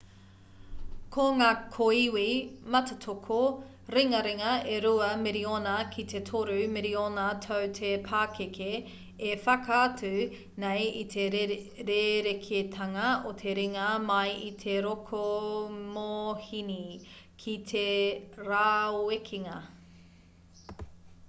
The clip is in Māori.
ko ngā kōiwi mātātoko ringaringa e rua miriona ki te toru miriona tau te pakeke e whakaatu nei i te rerekētanga o te ringa mai i te rokomōhini ki te rāwekenga